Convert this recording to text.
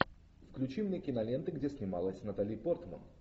включи мне киноленты где снималась натали портман